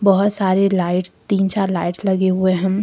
बहुत सारी लाइटस तीन चार लाइटस लगे हुए हैं।